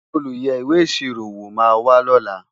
olú yé ìwé ìṣirò wò má wà ló là